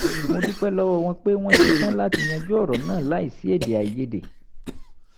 mo dúpẹ́ lọ́wọ́ wọn pé wọ́n ṣe tán láti yanjú ọ̀rọ̀ náà láìsí èdèàìyédè